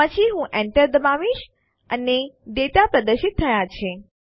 પછી હું એન્ટર દબાવીશ અને ડેટા પ્રદર્શિત થયા છે